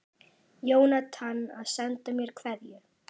Jónatan að senda mér kveðju?